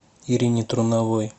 ирине труновой